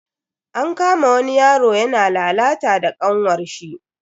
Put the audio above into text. An kama wani yaro yana lalata da kanwarshi.